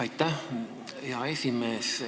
Aitäh, hea esimees!